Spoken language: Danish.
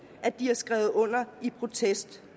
at de har skrevet under i protest